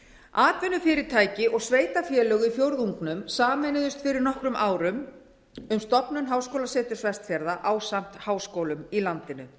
atvinnufyrirtæki og sveitarfélög í fjórðungnum sameinuðust fyrir nokkrum árum um stofnun háskólaseturs vestfjarða ásamt háskólum í landinu